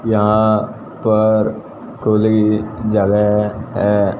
यहां पर खुली जगह है।